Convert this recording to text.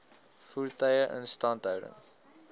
voertuie instandhouding